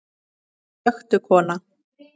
Slökktu kona.